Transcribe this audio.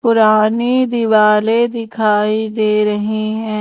पुरानी दिवाले दिखाई दे रही हैं।